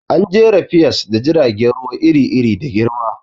An jera piers da jiragen ruwa iri-iri da girma.